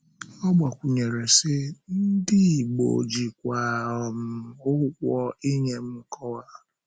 Ọ gbàkwunyèrè, sị: “Ndị Ìgbò jìkwa um ụgwọ inye m nkọwa.”